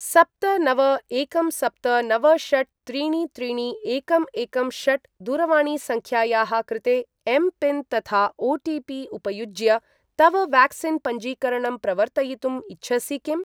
सप्त नव एकं सप्त नव षट् त्रीणि त्रीणि एकं एकं षट् दूरवाणीसङ्ख्यायाः कृते एम् पिन् तथा ओ.टि.पि. उपयुज्य तव व्याक्सीन् पञ्जीकरणं प्रवर्तयितुं इच्छसि किम्?